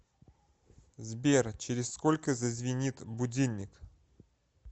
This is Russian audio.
сбер через сколько зазвенит будильник